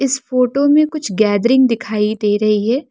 इस फोटो में कुछ गैदरिंग दिखाई दे रही है।